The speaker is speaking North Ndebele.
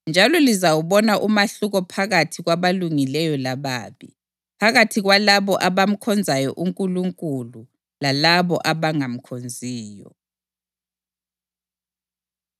Njalo lizawubona umahluko phakathi kwabalungileyo lababi, phakathi kwalabo abamkhonzayo uNkulunkulu lalabo abangamkhonziyo.”